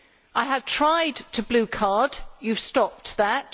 I have tried to blue card, you have stopped that.